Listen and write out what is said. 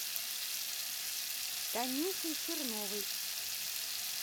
танюшей черновой